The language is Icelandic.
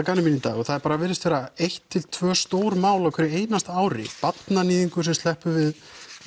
gamni mínu í dag og það bara virðist vera eitt til tvö stór mál á hverju einasta ári barnaníðingur sem sleppur við